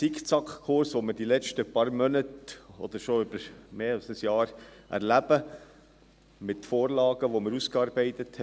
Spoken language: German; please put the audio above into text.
Wir erleben über die letzten paar Monate oder schon über mehr als ein Jahr einen Zickzackkurs, mit Vorlagen, die wir ausgearbeitet haben.